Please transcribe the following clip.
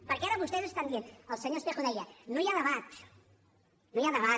perquè ara vostès estan dient el senyor espejo deia no hi ha debat no hi ha debat